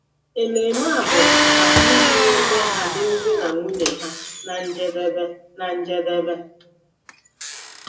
Ememe a bụ maka iji weta alụmdi na nwunye ha ná njedebe. ná njedebe.